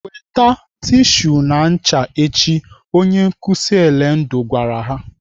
"Weta tishu na ncha echi!" Onye nkụzi Elendu gwara ha.